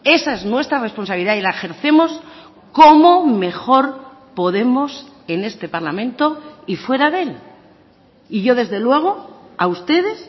esa es nuestra responsabilidad y la ejercemos como mejor podemos en este parlamento y fuera de él y yo desde luego a ustedes